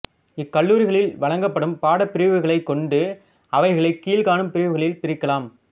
இக்கல்லூரிகளில் வழங்கப்படும் பாடப் பிரிவுகளைக் கொண்டு அவைகளைக் கீழ்காணும் பிரிவுகளில் பிரிக்கலாம்